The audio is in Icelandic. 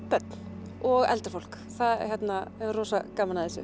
börn og eldra fólk það hefur gaman af þessu